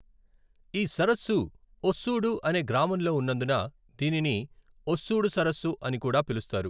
ఈ సరస్సు ఒస్సూడు అనే గ్రామంలో ఉన్నందున దీనిని ఒస్సూడు సరస్సు అని కూడా పిలుస్తారు.